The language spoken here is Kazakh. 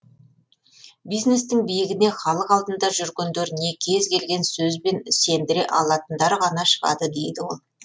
бизнестің биігіне халық алдында жүргендер не кез келген сөзбен сендіре алатындар ғана шығады дейді ол